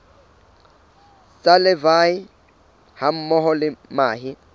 tsa larvae hammoho le mahe